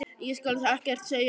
Ég skal ekkert segja um það.